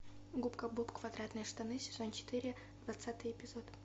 губка боб квадратные штаны сезон четыре двадцатый эпизод